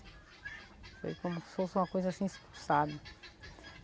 Foi como se fosse uma coisa, assim, expulsada.